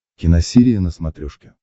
киносерия на смотрешке